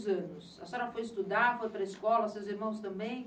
Anos. A senhora foi estudar, foi para a escola, seus irmãos também?